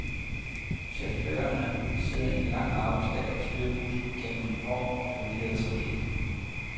Chaufførerne sidder en lang arbejdsdag og styrer bussen gennem en hård og forvirret trafik.